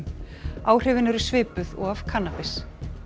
áhrifin eru svipuð og af kannabis